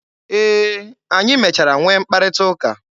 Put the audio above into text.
E, anyị mechara nwee mkparịta ụka.